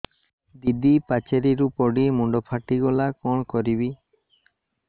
ଦିଦି ପାଚେରୀରୁ ପଡି ମୁଣ୍ଡ ଫାଟିଗଲା କଣ କରିବି